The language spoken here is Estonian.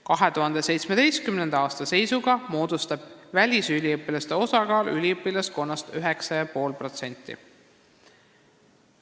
2017. aasta seisuga on välisüliõpilaste osakaal üliõpilaskonnas 9,5%.